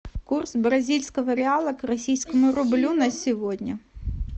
курс бразильского реала к российскому рублю на сегодня